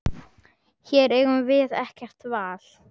Hér eigum við ekkert val.